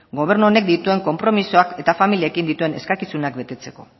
gobernu honek dituen konpromisoak eta familiekin dituen eskakizunak betetzeko